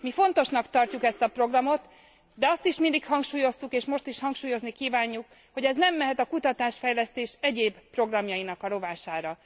Mi fontosnak tartjuk ezt a programot, de azt is mindig hangsúlyoztuk, és most is hangsúlyozni kívánjuk, hogy ez nem mehet a kutatás fejlesztés egyéb programjainak a rovására.